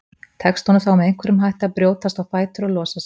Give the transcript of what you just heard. Tekst honum þá með einhverjum hætti að brjótast á fætur og losa sig.